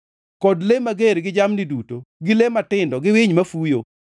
kod le mager gi jamni duto gi le matindo gi winy mafuyo,